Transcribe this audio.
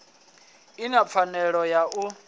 i na pfanelo ya u